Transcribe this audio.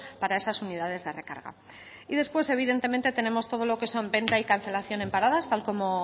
para esas unidades de recarga y después evidentemente tenemos todo lo que son venta y cancelación en paradas tal como